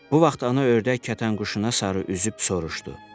Bu vaxt ana ördək kətənquşuna sarı üzüb soruşdu.